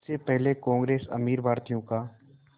उससे पहले कांग्रेस अमीर भारतीयों का